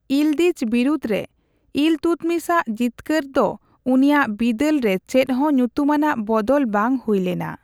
ᱤᱞᱫᱤᱡᱽ ᱵᱤᱨᱩᱫᱽᱨᱮ ᱤᱞᱛᱩᱛᱢᱤᱥ ᱟᱜ ᱡᱤᱛᱠᱟᱹᱨ ᱫᱚ ᱩᱱᱤᱭᱟᱜ ᱵᱤᱫᱟᱹᱞ ᱨᱮ ᱪᱮᱫ ᱦᱚᱸ ᱧᱩᱛᱩᱢᱟᱱᱟᱜ ᱵᱚᱫᱚᱞ ᱵᱟᱝ ᱦᱩᱭ ᱞᱮᱱᱟ ᱾